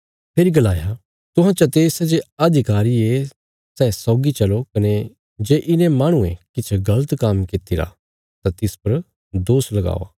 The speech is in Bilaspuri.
फेरी गलाया तुहां चते सै जे अधिकारी ये सै सौगी चलो कने जे इने माहणुये किछ गल़त काम्म कित्तिरा तां तिस परा दोष लगावा